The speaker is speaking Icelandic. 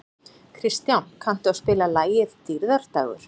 Kristján, kanntu að spila lagið „Dýrðardagur“?